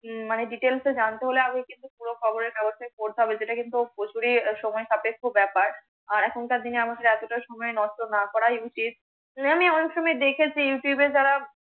মানে details এ জানতে হলে, আমাকে কিন্তু পুরো খবরের কাগজটা পড়তে হবে, যে টা কিন্তু প্রচুরি আহ সময় সাপেক্ষ ব্যাপার। আর এখনকার দিনে আমাকে এতটা সময় নষ্ট না করাই উচিত।